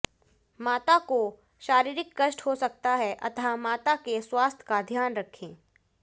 माता को शारीरिक कष्ट हो सकता है अतः माता के स्वास्थ्य का ध्यान रखें